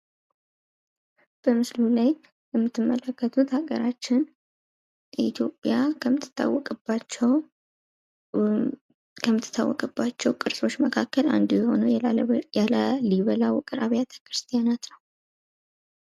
በምስሉ የምትመለከቱት ሀገራችን ኢትዮጵያ ከምትታወቅባቸው ቅርሶች አንዱ የሆነው የላሊበላ ውቅር አቢያተ ክርስቲያን ነው ።